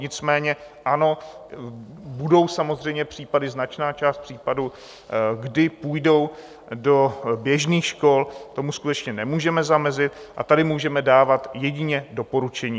Nicméně ano, budou samozřejmě případy, značná část případů, kdy půjdou do běžných škol, tomu skutečně nemůžeme zamezit a tady můžeme dávat jedině doporučení.